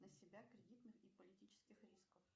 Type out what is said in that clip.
на себя кредитных и политических рисков